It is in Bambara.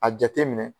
A jateminɛ